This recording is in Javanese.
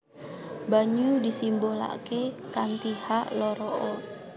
Banyu disimbolaké kanthi H loro O